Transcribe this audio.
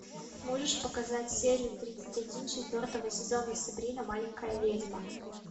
можешь показать серию тридцать один четвертого сезона сабрина маленькая ведьма